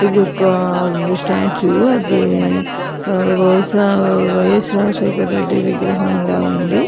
ఇది ఒక్క స్టాచ్చు గ బహుషా వైయస్ రాజశేఖర్ రెడ్డి విగ్రహంలా ఉంది.